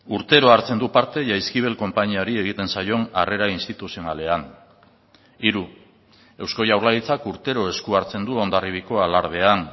urtero hartzen du parte jaizkibel konpainiari egiten zaion arrera instituzionalean hiru eusko jaurlaritzak urtero esku hartzen du hondarribiako alardean